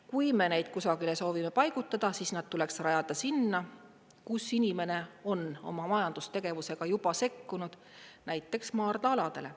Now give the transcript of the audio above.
Kui me neid kusagile soovime paigutada, siis nad tuleks rajada sinna, kus inimene on oma majandustegevusega juba sekkunud, näiteks maardla-aladele.